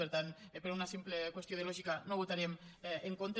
per tant per una simple qüestió de lògica no hi votarem en contra